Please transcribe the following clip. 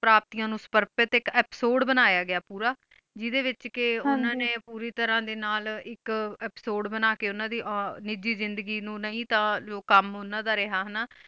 ਪ੍ਰੋਪ੍ਤਿਯਾਂ ਨੂ ਸਰ੍ਫ੍ਯ ਟੀ ਆ ਏਪਿਸੋਦੇ ਬਨਯ ਗਾ ਪੋਰ ਜਿਡੀ ਵਿਚ ਕ ਹਨ ਜੀ ਓਨਾ ਨੀ ਪੂਰੀ ਤਰਹ ਡੀ ਨਾਲ ਇਕ ਏਪਿਸੋਦੇ ਬਣਾ ਕ ਓਨਾ ਦੀ ਨਿਜੀ ਜਿੰਦਗੀ ਨੂ ਨਾਈ ਤਾ ਲੋ ਕੁਮ ਓਨਾਂ ਦਾ ਰੇਯ੍ਹਾ ਹਨਾ